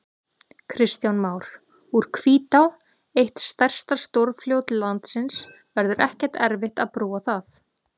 Kristján Már: Úr Hvítá, eitt stærsta stórfljót landsins, verður ekkert erfitt að brúa það?